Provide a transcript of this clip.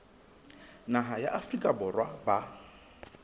naha ya afrika borwa ba